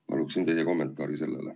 Ma palun teie kommentaari sellele.